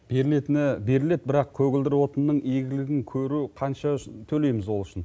берілетіні беріледі бірақ көгілдір отынның игілігін көру қанша төлейміз ол үшін